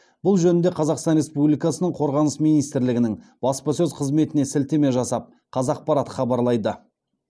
бұл жөнінде қазақстан республикасының қорғаныс министрлігінің баспасөз қызметіне сілтеме жасап қазақпарат хабарлайды